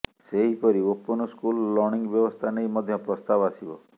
ସେହିପରି open school learning ବ୍ୟବସ୍ଥା ନେଇ ମଧ୍ୟ ପ୍ରସ୍ତାବ ଆସିବ